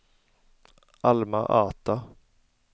Alma-Ata